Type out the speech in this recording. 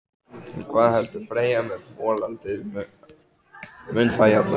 En hvað heldur Freyja með folaldið, mun það jafna sig?